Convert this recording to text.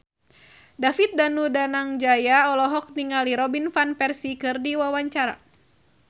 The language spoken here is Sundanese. David Danu Danangjaya olohok ningali Robin Van Persie keur diwawancara